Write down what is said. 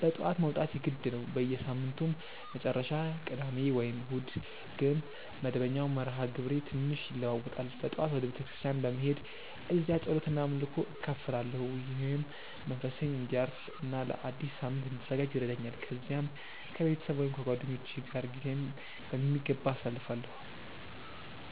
በጠዋት መውጣት የግድ ነው። በሳምንቱ መጨረሻ (ቅዳሜ ወይም እሁድ) ግን መደበኛው መርሃ ግብሬ ትንሽ ይለዋዋጣል። በጠዋት ወደ ቤተ ክርስቲያን በመሄድ እዚያ ጸሎት እና አምልኮ እካፈላለሁ፣ ይህም መንፈሴን እንዲያርፍ እና ለአዲስ ሳምንት እንድዘጋጅ ይረዳኛል። ከዚያም ከቤተሰብ ወይም ከጓደኞች ጋር ጊዜዬን በሚገባ አሳልፋለሁ።